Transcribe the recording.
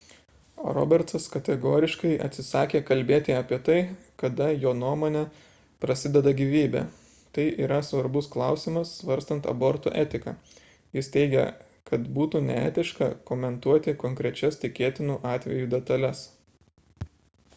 robertsas kategoriškai atsisakė kalbėti apie tai kada jo nuomone prasideda gyvybė – tai yra svarbus klausimas svarstant abortų etiką – jis teigia kad būtų neetiška komentuoti konkrečias tikėtinų atvejų detales